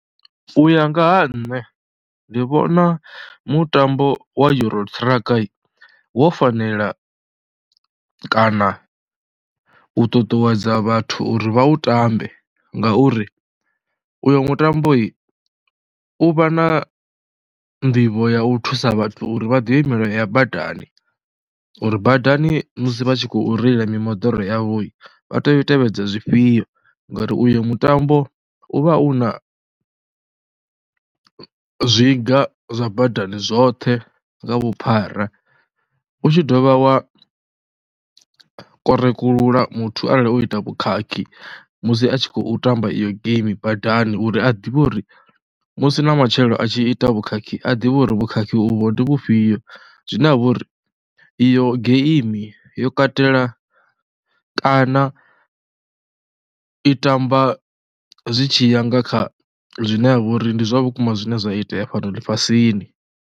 U ya nga ha nṋe ndi vhona mutambo wa Euro Truck wo fanela kana u ṱuṱuwedza vhathu uri vha u ṱambe ngauri uyo mutambo u vha na nḓivho ya u thusa vhathu uri vha ḓivhe milayo ya badani, uri badani musi vha tshi khou reila mimoḓoro yavho vha tea u tevhedza zwifhio ngori uyo mutambo u vha u na zwiga zwa badani zwoṱhe nga vhuphara. U tshi dovha wa korekulula muthu arali o ita vhukhakhi musi a tshi khou tamba iyo game badani uri a ḓivhe uri musi na matshelo a tshi ita vhukhakhi a ḓivhe uri vhukhakhi uvho ndi vhufhio, zwine ha vha uri iyo game yo katela kana i tamba zwi tshi ya nga kha zwine ha vha uri ndi zwa vhukuma zwine zwa itea fhano ḽifhasini.